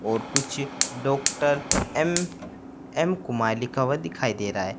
और कुछ doctor M M Kumar लिखा हुआ दिखाई दे रहा है।